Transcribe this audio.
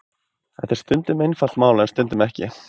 Þetta er stundum einfalt mál en stundum ekki.